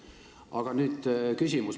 Aga nüüd küsimus.